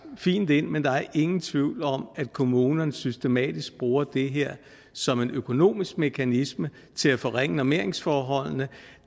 fint ind men der er ingen tvivl om at kommunerne systematisk bruger det her som en økonomisk mekanisme til at forringe normeringsforholdene